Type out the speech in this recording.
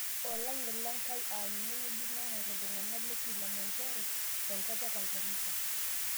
Olang'et lenkai aa ninye ewueji nang'uar ilntung'ana te kilimanjaro tenkop e Tanganyika